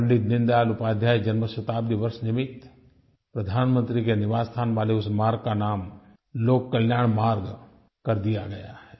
पंडित दीनदयाल उपाध्याय जन्म शताब्दी वर्ष निमित्त प्रधानमंत्री के निवास स्थान वाले उस मार्ग का नाम लोक कल्याण मार्ग कर दिया गया है